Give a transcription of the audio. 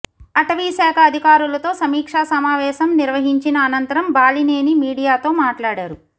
అటవీశాఖ అధికారులతో సమీక్షా సమావేశం నిర్వహించిన అనంతరం బాలినేని మీడియాతో మాట్లాడారు